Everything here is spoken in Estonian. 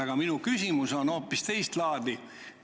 Aga minu küsimus on hoopis teist laadi.